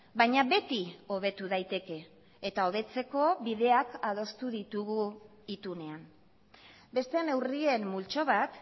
baina beti hobetu daiteke eta hobetzeko bideak adostu ditugu itunean beste neurrien multzo bat